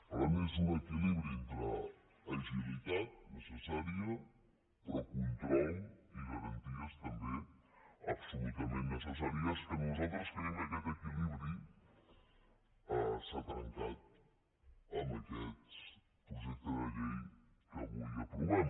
per tant és un equilibri entre agilitat necessària pe·rò control i garanties també absolutament necessaris que nosaltres creiem que aquest equilibri s’ha trencat amb aquest projecte de llei que avui aprovem